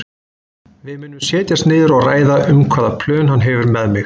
Við munum setjast niður og ræða um hvaða plön hann hefur með mig.